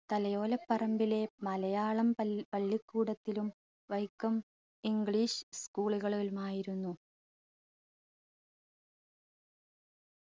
തലയോലപ്പറമ്പിലെ മലയാളം പൽ പള്ളിക്കൂടത്തിലും Vaikom english school കളിൽ നിന്നായിരുന്നു